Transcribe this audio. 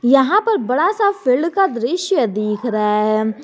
यहां पर बड़ा सा फील्ड का दृश्य दिख रहा है।